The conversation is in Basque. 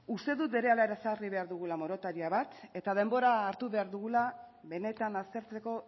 uste dut berehala ezarri behar dugula moratoria bat eta denbora hartu behar dugula benetan aztertzeko